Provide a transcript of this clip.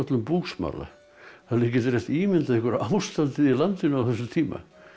búsmala þið getið rétt ímyndað ykkur ástandið í landinu á þessum tíma